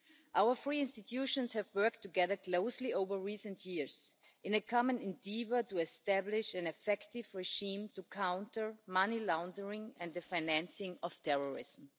Our three institutions have worked together closely in recent years in a common endeavour to establish an effective regime to counter money laundering and the financing of terrorism.